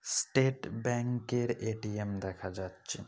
State Bank -এর ATM. দেখা যাচ্ছে।